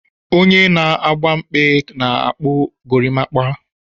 Onye na agba mkpe na-akpu gorimakwa.